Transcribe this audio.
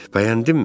Bəyəndinmi?